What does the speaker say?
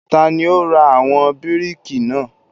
Tani ó ra àwọn bíríkì náà?